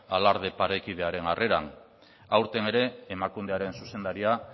alarde parekidearen harreran aurten ere emakundearen zuzendaria